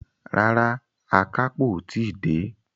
Rárá, àkápò o tí dé.